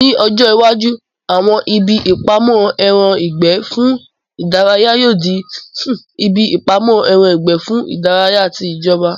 Ni ọjọ́ iwájú, àwọn ibi ìpamọ́ ẹran ìgbẹ́ fún ìdárayá yóò di ibi ìpamọ́ ẹran ìgbẹ́ fún ìdárayá ti ìjọba